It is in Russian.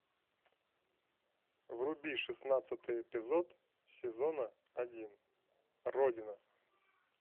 вруби шестнадцатый эпизод сезона один родина